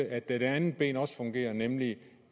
at det andet ben også fungerer nemlig